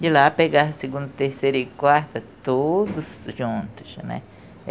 De lá pegar a segunda, terceira e quarta, todos juntos né.